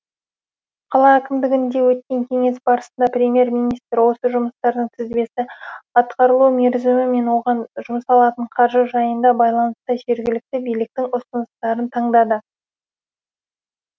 қала әкімдігінде өткен кеңес барысында премьер министр осы жұмыстардың тізбесі атқарылу мерзімі мен оған жұмсалатын қаржы жайына байланысты жергілікті биліктің ұсыныстарын таңдады